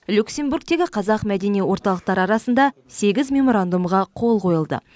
люксембургтегі қазақ мәдени орталықтары арасында сегіз меморандумға қол қойылды